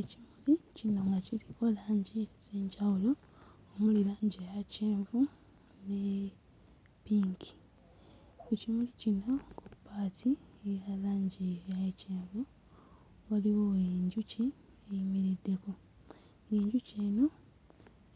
Ekimuli kinyuma kiriko langi ez'enjawulo omuli langi eya kyenvu ne ppinki, ekimuli kino part eya langi eya kyenvu waliwo enjuki eyimiriddeko, enjuki eno